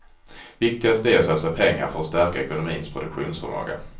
Viktigast är att satsa pengar för att stärka ekonomins produktionsförmåga.